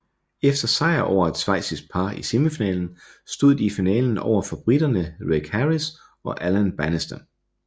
Efter sejr over et schweizisk par i semifinalen stod de i finalen over for briterne Reg Harris og Alan Bannister